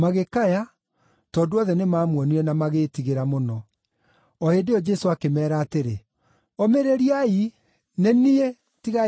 tondũ othe nĩmamuonire na magĩĩtigĩra mũno. O hĩndĩ ĩyo Jesũ akĩmeera atĩrĩ, “Ũmĩrĩriai! Nĩ niĩ. Tigai gwĩtigĩra.”